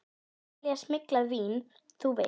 Að selja smyglað vín, þú veist.